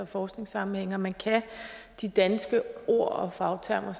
forskningssammenhænge og at man kan de danske ord og fagtermer